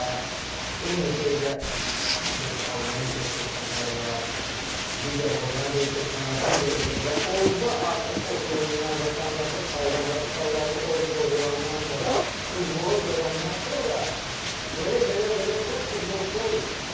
Və eyni şey də indi Almaniyada köçənlər var, digər Hollandiyaya köçən var, digər ölkə və orda artıq oturumdan, vətəndaşlıq alandan və uşaqlarını orda doğulandan sonra futbola verəndən sonra belə-belə-belə-belə futbolçular yetişir.